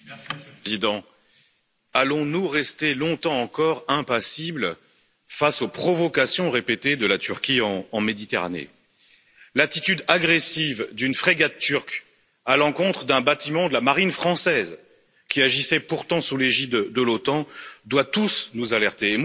Monsieur le Président, allons nous rester longtemps encore impassibles face aux provocations répétées de la Turquie en Méditerranée? L'attitude agressive d'une frégate turque à l'encontre d'un bâtiment de la marine française qui agissait pourtant sous l'égide de l'OTAN doit tous nous alerter.